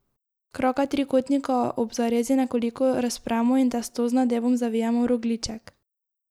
Kraka trikotnika ob zarezi nekoliko razpremo in testo z nadevom zavijemo v rogljiček.